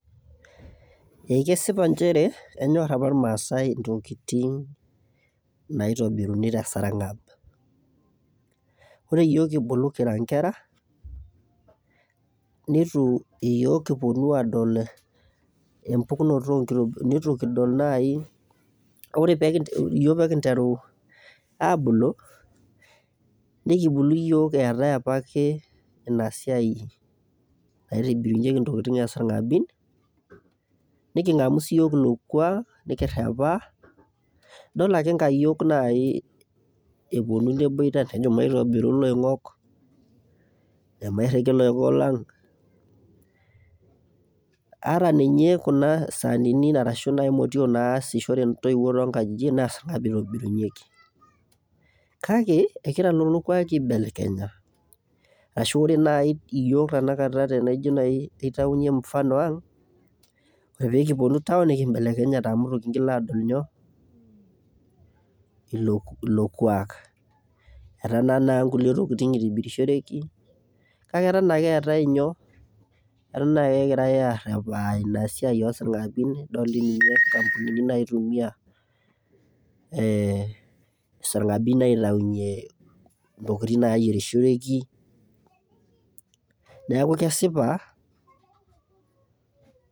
Ee kesipa nchere enyorr apa irmaasai intokiting' naitobiruni tee sarng'ab oree iyok kibulu kira inkera neitu iyook kiponu aadol empukunoto nitu kudol naayi kake oree iyook peekinteru aabulu nikibulu iyok eetae apa ake ina siai naitobirunyeki intokiting' oo sarng'abin niking'amu siiyok ilo kuak kirepa idol ake inkayiok nayii eponu neboita nejo maitobiru iloing'ok amairiki ilong'ok lang' ata ninye kuna saanini ashuu nayii imotiok naasishore intoiwo too nkajijik naa isarng'abin eitobirunyeki kake egira lelo kwakii aibelekenya ashuu oree nayii iyook tanakata tenaijo nayii aitayunyie mfano ang' peekiponu town nekibelekenyate amuu itu kiingil adol inyoo ilo kuak etaa naa inkulie tokiting' eitobirishoreki kakee eton akee eetae inyo eton ake egirai aar ina siai oo sarng'abin idol ake inksampunini naitumia isarng'abin aitayunyie ntokiting' naayierishoreki neeku kesipa.